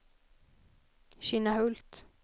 Kinnahult